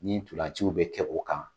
Ni ntolaciw bɛ kɛ o kan